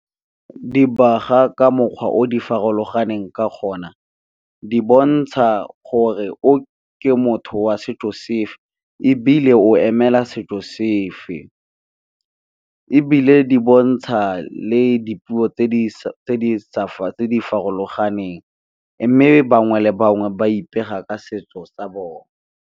Dibaga ka mokgwa o difarologaneng ka gona di bontsha gore o ke motho wa setso sefe, ebile o emela setso sefe, ebile di bontsha le dipuo tse di farologaneng, mme bangwe le bangwe ba ipega ka setso sa bone.